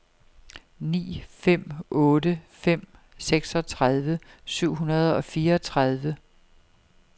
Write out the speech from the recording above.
ni fem otte fem seksogtredive syv hundrede og fireogtredive